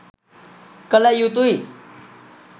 කළ යුතුයි.